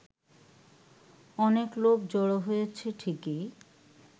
অনেক লোক জড়ো হয়েছে ঠিকই